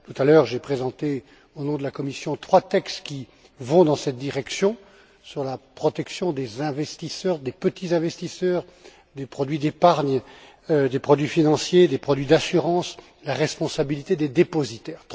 Tout à l'heure, j'ai présenté, au nom de la Commission, trois textes qui vont dans cette direction, sur la protection des investisseurs, des petits investisseurs, des produits d'épargne, des produits financiers, des produits d'assurance, sur la responsabilité des dépositaires.